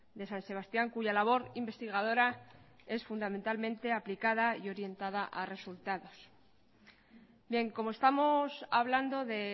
de san sebastián cuya labor investigadora es fundamentalmente aplicada y orientada a resultados bien como estamos hablando de